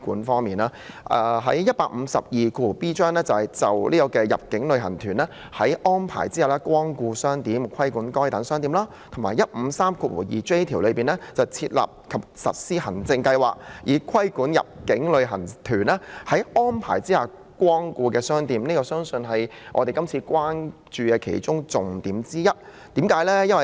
《條例草案》第 152b 條"就入境旅行團在安排下光顧商店，規管該等商店"及第 1532j 條"設立和實施行政計劃，以規管入境旅行團在安排下光顧的商店"，都是我們關注的重點之一。